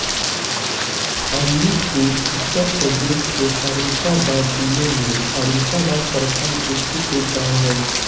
अलूपुर उत्तर प्रदेश के फर्रुखाबाद जिला में फर्रुखाबाद प्रखण्ड स्थित एक गाँव है